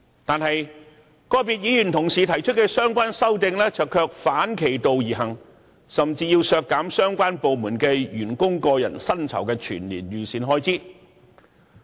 可是，個別議員同事提出的相關修正案卻反其道而行，甚至要求削減相關部門員工的個人薪酬全年預算開支。